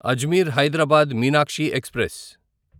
Ajmer Hyderabad Meenakshi express